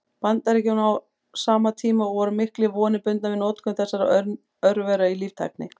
Bandaríkjunum á sama tíma, og voru miklar vonir bundnar við notkun þessara örvera í líftækni.